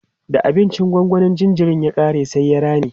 da abincin gongonin jinjirin ya ƙare sai ya rame